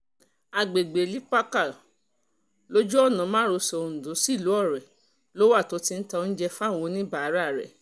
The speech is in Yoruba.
àgbègbè lipaká lójú ọ̀nà márosẹ̀ ondo sílùú ọrẹ ló wà tó ti ń ta oúnjẹ fáwọn oníbàárà rẹ̀